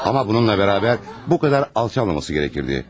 Amma bununla bərabər, bu qədər alçalmamalı idi.